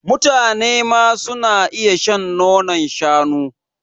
mutanema suna iya shan nonon shanu